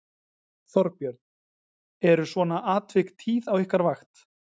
Þorbjörn: Eru svona atvik tíð á ykkar vakt?